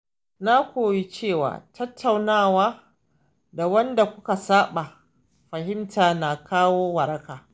Na koyi cewa tattaunawa da wanda kuka saɓa fahimta na kawo waraka.